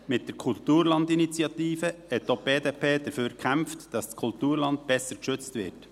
Mit der Kulturlandinitiative hat auch die BDP dafür gekämpft, dass das Kulturland besser geschützt wird.